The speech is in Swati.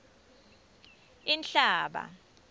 inhlaba